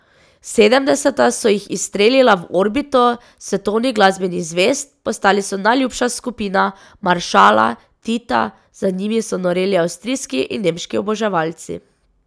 Sedemdeseta so jih izstrelila v orbito svetovnih glasbenih zvezd, postali so najljubša skupina maršala Tita, za njimi so noreli avstrijski in nemški oboževalci.